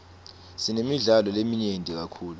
sinemidlalo leminyenti kakhulu